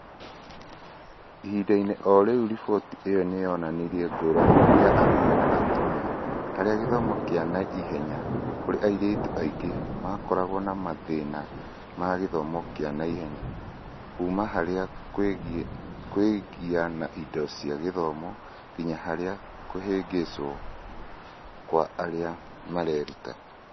ĩhinda-inĩ o rĩu, riboti ĩyo nĩ yonanirie ngũrani ya arũme na atumia harĩ gĩthomo kĩa naihenya, kũrĩa airĩtu aingĩ makoragwo na mathĩna ma gĩthomo kĩa naihenya, kuuma harĩ kũgĩa na indo cia gĩthomo nginya harĩ kũhĩngĩcwo kwa arĩa mareruta.